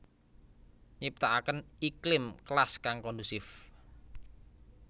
Nyiptakaken iklim kelas kang kondusif